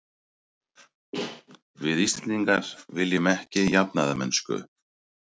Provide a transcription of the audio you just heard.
Við Íslendingar viljum ekki jafnaðarmennsku.